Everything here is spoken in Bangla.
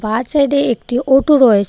বা সাইডে একটি ওটো রয়েছে.